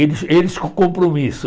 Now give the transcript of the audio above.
Eles eles com compromisso.